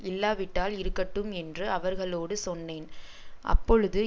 இல்லாவிட்டால் இருக்கட்டும் என்று அவர்களோடு சொன்னேன் அப்பொழுது